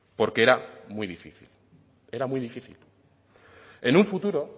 porque era muy difícil era muy difícil en un futuro